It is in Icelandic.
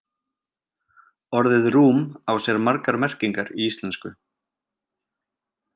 Orðið rúm á sér margar merkingar í íslensku.